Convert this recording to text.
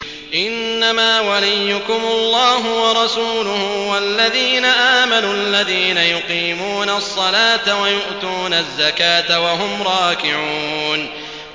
إِنَّمَا وَلِيُّكُمُ اللَّهُ وَرَسُولُهُ وَالَّذِينَ آمَنُوا الَّذِينَ يُقِيمُونَ الصَّلَاةَ وَيُؤْتُونَ الزَّكَاةَ وَهُمْ رَاكِعُونَ